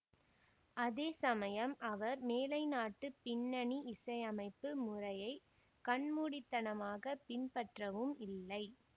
அதேசமயம் அவர் மேலைநாட்டுப் பின்னணி இசையமைப்பு முறையை கண்மூடித்தனமாகப் பின்பற்றவும் இல்லை